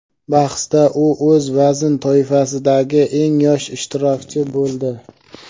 bahsda u o‘z vazn toifasidagi eng yosh ishtirokchi bo‘ldi.